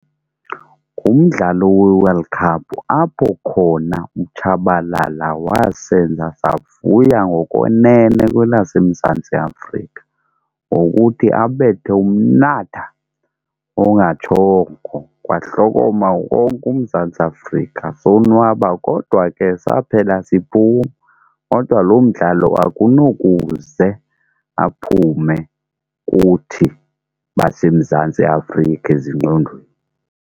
Ngumdlalo weWorld Cup apho khona uTshabalala wasenza savuya ngokwenene kwelaseMzantsi Afrika ngokuthi abethe umnatha ongatshongo kwahlokoma wonke uMzantsi Afrika, sonwaba kodwa ke saphela siphuma. Kodwa loo mdlalo akunokuze aphume kuthi baseMzantsi Afrika ezingqondweni.